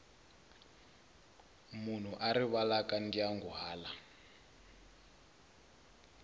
munhu a rivalaka ndyangu hala